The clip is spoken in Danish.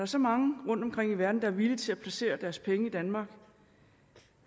så mange rundtomkring i verden der er villige til at placere deres penge i danmark